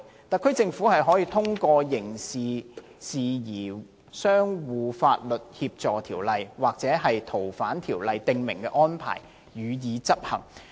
特區政府可以通過《刑事事宜相互法律協助條例》或《逃犯條例》訂明的安排，予以執行。